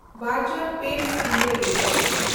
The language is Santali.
ᱵᱮᱱᱰᱡᱮᱱᱰᱯᱮᱸᱴᱥ ᱤᱱᱰᱤᱭᱟ ᱞᱤᱢᱤᱴᱮᱰ